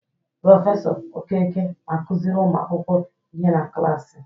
Prọfesọ Okeke na-akụziri ụmu akwụkwọ ihe na klaasị.